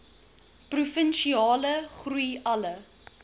provinsiale groei alle